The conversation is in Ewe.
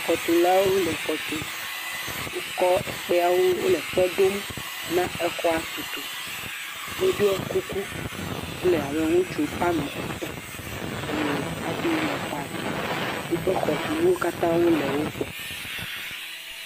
xɔtulawo le xɔ tum wó kɔ ekpeawo wóle kpe ɖom na exɔa tutu woɖó kuku wóle abe ŋutsu woame etɔ̃ eye afi le xɔ tum wóƒe xɔtunuwo katã le wó gbɔ